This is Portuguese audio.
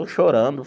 Eu chorando.